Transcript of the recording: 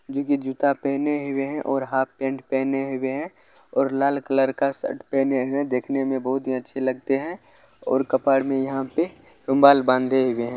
जो की जूता पहनें हुए है और हाफ पेंट पेहने हुए है और लाल कलर का शर्ट पहने हुए है देखने में बहुत ही अच्छे लगते है और कपार में यहाँ पे रुमाल बांधे हुए है।